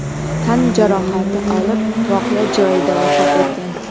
tan jarohati olib, voqea joyida vafot etgan.